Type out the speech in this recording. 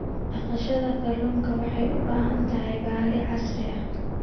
Dhaqashada kalluunka waxay u baahan tahay balli casri ah.